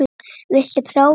Viltu prófa þetta?